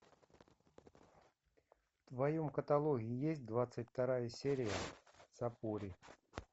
в твоем каталоге есть двадцать вторая серия сапури